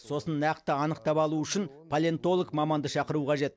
сосын нақты анықтап алу үшін палеонтолог маманды шақыру қажет